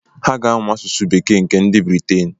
Ha ga-amụ asụsụ bekee nke nd Briten.